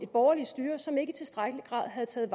borgerligt styre som ikke i tilstrækkelig grad havde taget